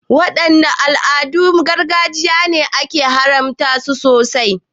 Wadanne al'adun gargajiya ne ake ganin an haramta su sosai?